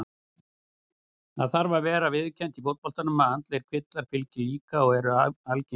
Það þarf að vera viðurkennt í fótboltanum að andlegir kvillar fylgja líka og eru algengir.